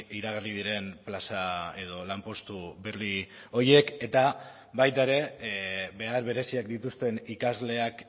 iragarri diren plaza edo lanpostu berri horiek eta baita ere behar bereziak dituzten ikasleak